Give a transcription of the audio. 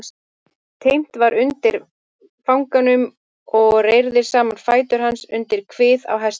Teymt var undir fanganum og reyrðir saman fætur hans undir kvið á hestinum.